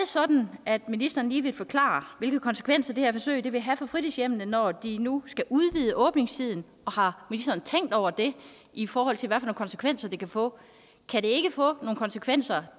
sådan at ministeren lige vil forklare hvilke konsekvenser det her forsøg vil have for fritidshjemmene når de nu skal udvide åbningstiden og har ministeren tænkt over det i forhold til hvilke konsekvenser det kan få kan det ikke få nogle konsekvenser